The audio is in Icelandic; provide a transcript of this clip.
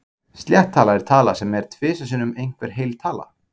Slétt tala er tala sem er tvisvar sinnum einhver heil tala.